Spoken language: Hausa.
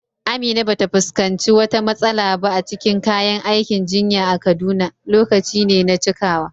Amina ba ta fuskanci wata matsala ba a cikin kayan aikin jinya a Kaduna; lokaci ne na cikawa.